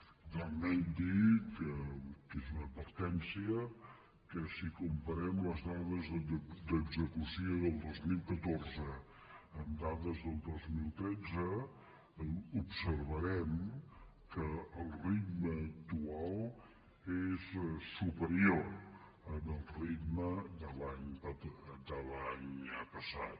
finalment dir que és una advertència que si comparem les dades d’execució del dos mil catorze amb dades del dos mil tretze observarem que el ritme actual és superior al ritme de l’any passat